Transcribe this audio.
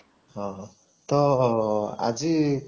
ହଉ ହଉ ତ ଆଜି